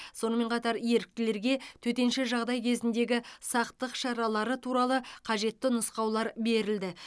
сонымен қатар еріктілерге төтенше жағдай кезіндегі сақтық шаралары туралы қажетті нұсқаулар берілді